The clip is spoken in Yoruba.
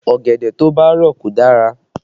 Ọ̀gẹ̀dẹ̀ tó bá rọ̀ kò dára